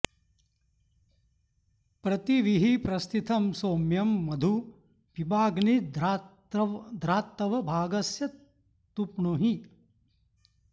प्रति॑ वीहि॒ प्रस्थि॑तं सो॒म्यं मधु॒ पिबाग्नी॑ध्रा॒त्तव॑ भा॒गस्य॑ तृप्णुहि